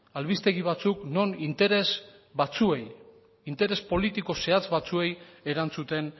albistegi batzuk non interes batzuei interes politiko zehatz batzuei erantzuten